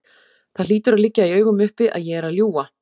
Það hlýtur að liggja í augum uppi að ég er að ljúga.